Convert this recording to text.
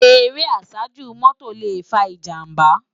Éré àsájú mòtó lé fá ijàmbá